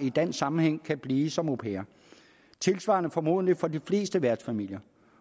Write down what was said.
i dansk sammenhæng kan blive som au pair tilsvarende gælder formodentlig for de fleste værtsfamilier